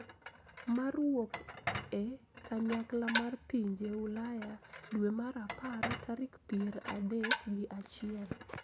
Mar wuok e kanyakla mar pinje Ulaya dwe mar Apar tarik pier adek gi achiel